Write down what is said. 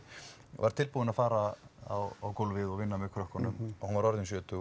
var tilbúin að fara á gólfið og vinna með krökkunum og hún var orðin sjötug